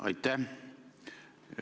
Aitäh!